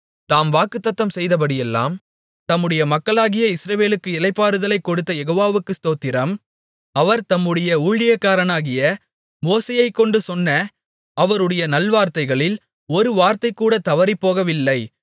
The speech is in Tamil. தாம் வாக்குத்தத்தம் செய்தபடியெல்லாம் தம்முடைய மக்களாகிய இஸ்ரவேலுக்கு இளைப்பாறுதலைக் கொடுத்த யெகோவாவுக்கு ஸ்தோத்திரம் அவர் தம்முடைய ஊழியக்காரனாகிய மோசேயைக்கொண்டு சொன்ன அவருடைய நல்வார்த்தைகளில் ஒரு வார்த்தைகூட தவறிப்போகவில்லை